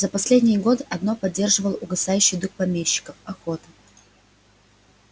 за последние годы одно поддерживало угасающий дух помещиков охота